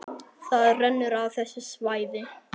Það rennur af þessu svæði.